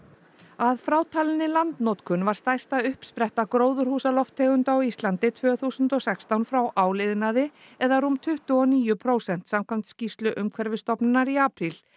að frátalinni landnotkun var stærsta uppspretta gróðurhúsalofttegunda á Íslandi tvö þúsund og sextán frá áliðnaði eða rúm tuttugu og níu prósent samkvæmt skýrslu Umhverfisstofnunar í apríl